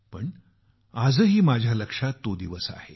पण आजही माझ्या लक्षात तो दिवस आहे